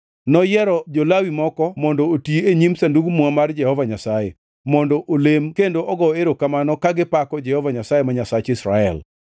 Noyiero jo-Lawi moko mondo oti e nyim Sandug Muma mar Jehova Nyasaye, mondo olem kendo ogo erokamano ka gipako Jehova Nyasaye ma Nyasach Israel.